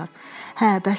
Hə, bəs sən?